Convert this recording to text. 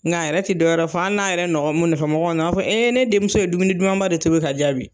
Nka yɛrɛ tɛ dɔwɛrɛ fɔ, hali n'a yɛrɛ nɔfɔmɔgɔw, a b'a fɔ ne denmuso ye dumuni dumanba de tobi ka diyan bi